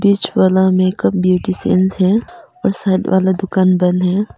बीच वाला makeup beautician है और साइड वाला दुकान बंद है।